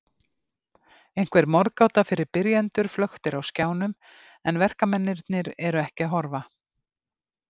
Einhver morðgáta fyrir byrjendur flöktir á skjánum en verkamennirnir eru ekki að horfa.